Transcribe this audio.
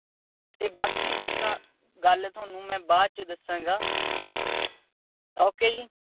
ਤੇ ਬਾਕੀ ਦੀ ਗੱਲ ਮੈਂ ਤੁਹਾਨੂੰ ਬਾਅਦ ਚ ਦੱਸਾਂਗਾ। ok